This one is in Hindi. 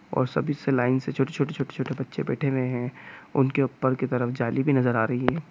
और सभी से लाइन से छोटे छोटे छोटे छोटे बच्चे बैठे हुए हैं। उनके ऊपर की तरफ जाली भी नजर आ रही है।